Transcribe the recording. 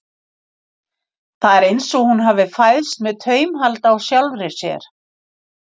Það er eins og hún hafi fæðst með taumhald á sjálfri sér.